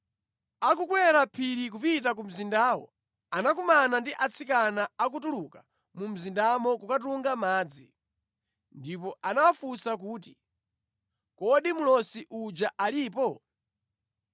Akukwera phiri kupita ku mzindawo anakumana ndi atsikana akutuluka mu mzindamo kukatunga madzi, ndipo anawafunsa kuti, “Kodi mlosi uja alipo?”